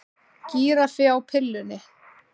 Gíraffi á pillunni